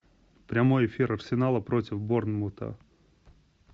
прямой эфир арсенала против борнмута